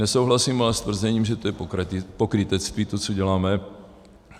Nesouhlasím ale s tvrzením, že to je pokrytectví, co děláme.